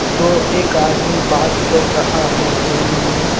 दो एक आदमी बात कर रहा है फोन में.